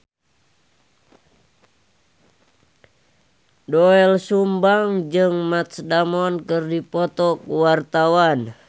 Doel Sumbang jeung Matt Damon keur dipoto ku wartawan